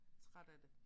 Træt af det